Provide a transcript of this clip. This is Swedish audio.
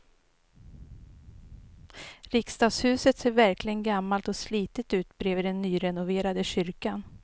Riksdagshuset ser verkligen gammalt och slitet ut bredvid den nyrenoverade kyrkan.